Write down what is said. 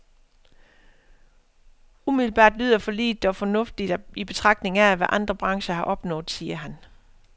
Umiddelbart lyder forliget dog fornuftigt i betragtning af, hvad andre brancher har opnået, siger han.